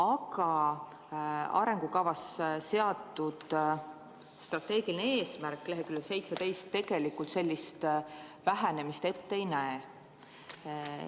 Aga arengukavas seatud strateegiline eesmärk leheküljel 17 tegelikult sellist vähenemist ette ei näe.